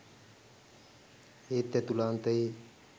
ඒත් ඇතුළාන්තයේ